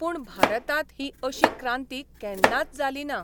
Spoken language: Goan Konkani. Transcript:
पूण भारतांत ही अशी क्रांती केन्नाच जाली ना.